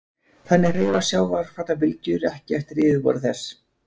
Þannig hreyfast sjávarfallabylgjur ekki eftir yfirborði þess.